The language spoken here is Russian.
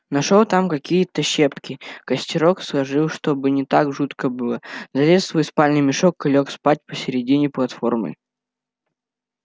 нашёл там какие-то щепки костерок сложил чтобы не так жутко было залез в свой спальный мешок и лёг спать посередине платформы